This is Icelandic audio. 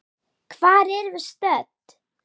Hvar erum við stödd?